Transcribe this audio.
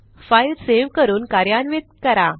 file save करून कार्यान्वित करा